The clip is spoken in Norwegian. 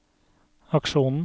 aksjonen